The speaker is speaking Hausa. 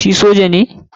Shi soja ne?